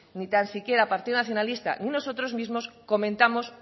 ni tan siquiera el partido nacionalista ni nosotros mismos comentamos